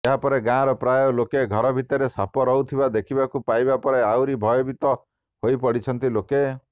ଏହାପରେ ଗାଁର ପ୍ରାୟ ଲୋକେ ଘର ଭିତରେ ସାପ ରହୁଥିବା ଦେଖିବାକୁ ପାଇବା ପରେ ଆହୁରି ଭୟଭୀତ ହୋଇପଡ଼ିଛନ୍ତି ଲୋକେ